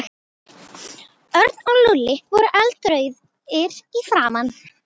Örn og Lúlli voru eldrauðir í framan.